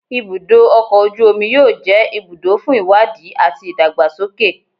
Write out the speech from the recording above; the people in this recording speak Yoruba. Ibudo ọkọ oju omi yoo jẹ ibudo fun iwadi ati idagbasoke